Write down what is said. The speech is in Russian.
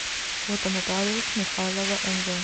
фото нотариус михайлова мв